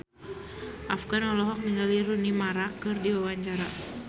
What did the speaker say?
Afgan olohok ningali Rooney Mara keur diwawancara